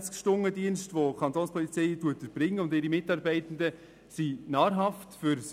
Der 24-Stunden-Dienst, den die Kapo und ihre Mitarbeitenden erbringen, ist nahrhafte Arbeit.